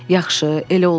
Yaxşı, elə olsun.